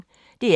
DR P1